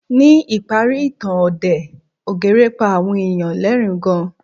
Ní ìparí ìtàn òdè ogre pa àwọn èèyàn lẹ́ẹ̀rín gan